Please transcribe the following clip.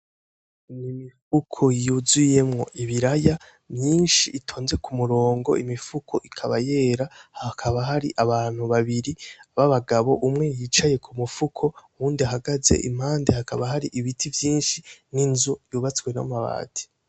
Ni imifuko yuzuyemwo ibiraya myinshi itonze ku murongo imifuko ikaba yera hakaba hari abantu babiri b'abagabo umwe yicaye ku mufuko uwundi ahagaze impande hakaba hari ibiti vyinshi n'inzu yubatswe n'amabati.